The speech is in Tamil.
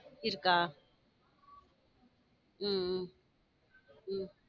இருக்கா? உம் உம் உம்